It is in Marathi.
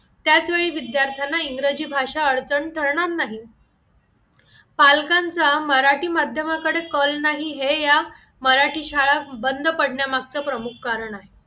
त्याचवेळी विद्यार्थ्यांना इंग्रजी भाषा अडचण करणार नाही पालकांचा मराठी माध्यमाकडे कल नाही हे ह्या मराठी शाळा बंद पडण्यामागचा प्रमुख कारण आहे